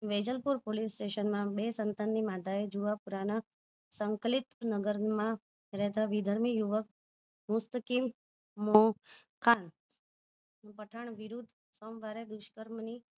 Vejalpur police station માં બે સંતાન ની માતા જુવાપુરા ના સંકલિત નગરમાં રેહતા વી ધર્મી યુવક મુસ્તકીમમોહ ખાન પઠાણ વિરુધ સોમવાર એ દુષ્કર્મ ની